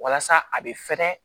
Walasa a bɛ fɛrɛ